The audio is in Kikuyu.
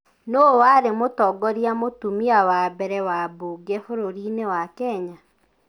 Nũũ warĩ mũtongoria mũtumia wa mbere wa mbunge bũrũri-inĩ wa Kenya?